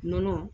Nɔnɔ